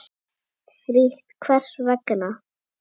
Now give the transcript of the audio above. Frítt Hvers vegna?